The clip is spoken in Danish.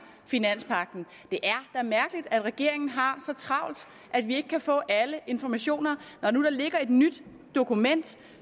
finanspagten det er mærkeligt at regeringen har så travlt at vi ikke kan få alle informationer når nu der ligger et nyt dokument